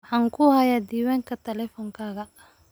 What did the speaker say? Waxaan ku hayaa diiwaanka taleefankayga.